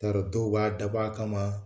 N t'a dɔn dɔw b'a dab'a kama